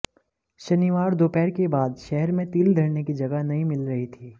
शनिवार दोपहर के बाद शहर में तिल धरने की जगह नहीं मिल रही थी